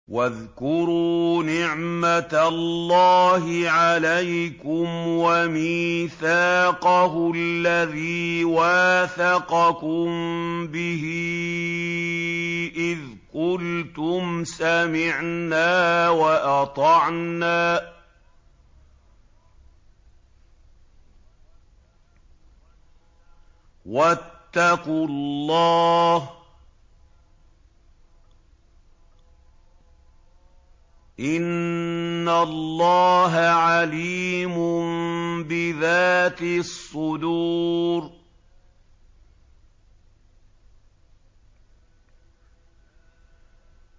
وَاذْكُرُوا نِعْمَةَ اللَّهِ عَلَيْكُمْ وَمِيثَاقَهُ الَّذِي وَاثَقَكُم بِهِ إِذْ قُلْتُمْ سَمِعْنَا وَأَطَعْنَا ۖ وَاتَّقُوا اللَّهَ ۚ إِنَّ اللَّهَ عَلِيمٌ بِذَاتِ الصُّدُورِ